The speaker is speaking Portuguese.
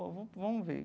Ó vamos, vamos ver.